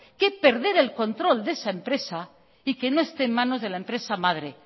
que perder el control de esa empresa y que no esté en manos de la empresa madre